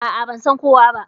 A'a, ba san kowa ba.